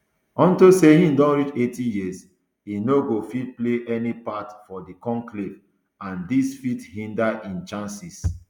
unto say im don reach eighty years e no go fit play any part for di conclave and dis fit hinder im chances